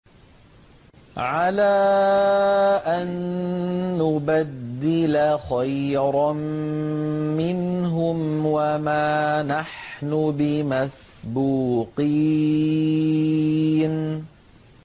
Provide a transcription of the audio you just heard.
عَلَىٰ أَن نُّبَدِّلَ خَيْرًا مِّنْهُمْ وَمَا نَحْنُ بِمَسْبُوقِينَ